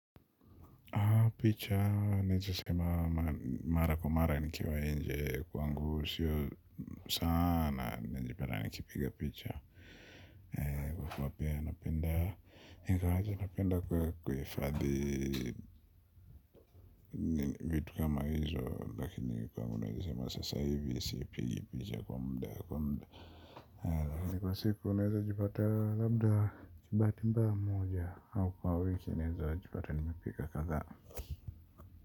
Picha, nijisema mara kwa mara nikiwa inje kwangu sio sana, nijipata nikipiga picha. Kwa kwa pia napenda kwa kufadhi vitu kama hizo, lakini kwa nijisema sasa hivi, isipigi picha kwa mda kwa mda. Kwa siku, naweza jipata labda chibati mba moja, au kwa wiki, naweza jipata nimipika kaza.